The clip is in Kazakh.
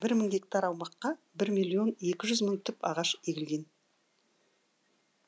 бір мың гектар аумаққа бір миллион екі жүз мың түп ағаш егілген